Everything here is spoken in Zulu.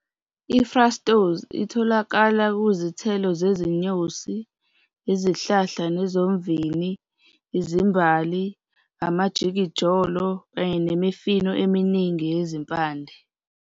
I-Fructose itholakala kuzithelo zezinyosi, izihlahla nezomvini, izimbali, amajikijolo kanye nemifino eminingi yezimpande.